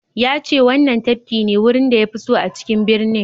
Ya ce wannan tafki ne wurin da ya fi so a cikin birnin.